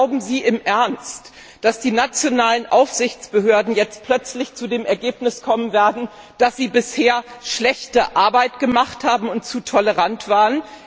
Oder glauben Sie im Ernst, dass die nationalen Aufsichtsbehörden jetzt plötzlich zu dem Ergebnis kommen werden, dass sie bisher schlechte Arbeit gemacht haben und zu tolerant waren?